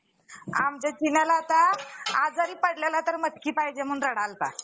आमच्या चिन्याला आता आजारी पडलेला तर मटकी पाहिजे म्हणून रडालता.